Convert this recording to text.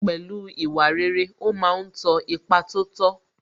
Pẹ̀lú ìwà rere, ó ma ń tọ ipa tó tọ́